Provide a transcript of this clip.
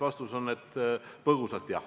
Vastus on, et põgusalt jah.